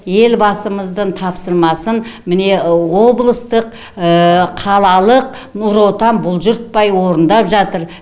елбасымыздың тапсырмасын міне облыстық қалалалық нұр отан бұлжытпай орындап жатыр